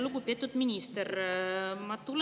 Lugupeetud minister!